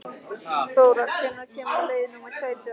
Þóra, hvenær kemur leið númer sautján?